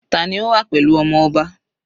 Tani ó wà pẹ̀lú ọmọ ọba?